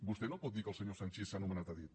vostè no pot dir que el senyor sanchis s’ha nomenat a dit